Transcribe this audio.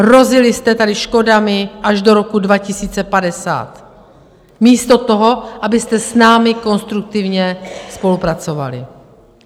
Hrozili jste tady škodami až do roku 2050 místo toho, abyste s námi konstruktivně spolupracovali.